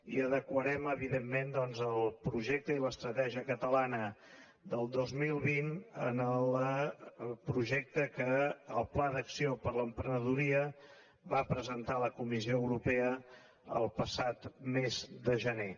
i adequarem evidentment el projecte i l’estratègia catalana del dos mil vint al projecte que el pla d’acció per a l’emprenedoria va presentar a la comissió europea el passat mes de gener